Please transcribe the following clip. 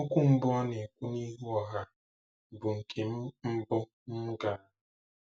Okwu mbụ ọ na-ekwu n'ihu ọha bụ nke mbụ m gara.